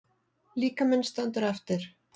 Líkaminn stendur eftir.